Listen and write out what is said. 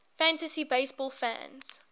fantasy baseball fans